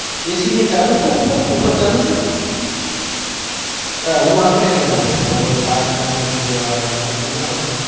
ac ને ચાલુ હ ભાઈ એ બધું ઉપર ઉપર ચાલુ છે હું એટલે બેઠો